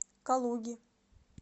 калуги